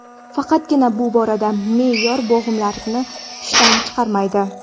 Faqatgina bu borada me’yor bo‘g‘imlarni ishdan chiqarmaydi.